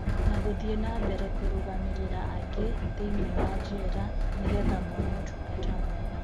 Na guthii nambere kurugamirira angi thiinie wa jera nigetha mone utungata mwega.